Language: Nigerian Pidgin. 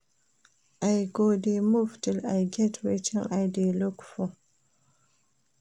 I go dey move till I get wetin I dey look for